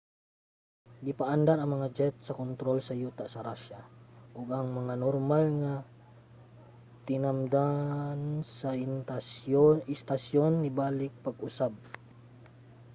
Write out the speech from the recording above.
gipaandar ang mga jet sa kontrol sa yuta sa russia ug ang normal nga tinamdan sa istasyon nabalik pag-usab